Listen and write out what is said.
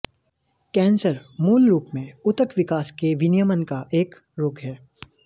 cancer मूलरूप में ऊतक विकास के विनियमन का एक रोग है